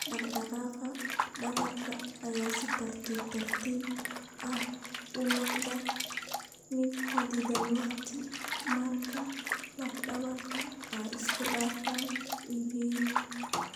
Dhaqdhaqaaqa dhabarka ayaa si tartiib tartiib ah u noqda mid xaddidan waqti ka dib marka laf dhabarta ay isku dhafan yihiin.